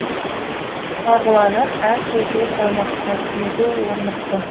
марғұланның әр сөзі салмақты өзі орнықты